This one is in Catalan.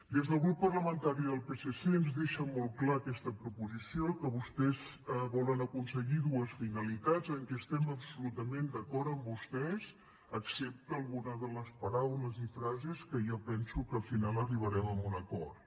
des del grup parlamentari del psc ens deixa molt clar aquesta proposició que vostès volen aconseguir dues finalitats en què estem absolutament d’acord amb vostès excepte alguna de les paraules i frases que jo penso que al final arribarem a un acord